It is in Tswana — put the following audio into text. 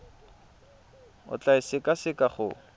o tla e sekaseka go